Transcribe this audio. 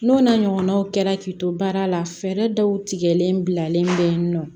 N'o n'a ɲɔgɔnnaw kɛra k'i to baara la fɛɛrɛ dɔw tigɛlen bilalen bɛ yen nɔ